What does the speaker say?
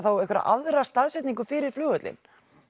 einhverja aðra staðsetningu fyrir flugvöllinn